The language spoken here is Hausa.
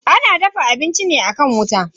Ana dafa abinci ne akan wuta.